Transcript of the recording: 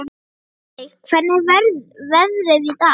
Ölveig, hvernig er veðrið í dag?